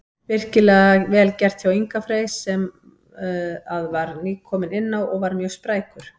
Virkilega vel gert hjá Inga Frey sem að var nýkominn inná og var mjög sprækur.